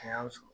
A y'a sɔrɔ